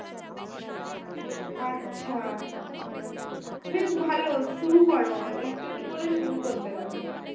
আচ্ছা বেশ ভালো শুরু কর একটু একটু করে শুরু করতে লাগ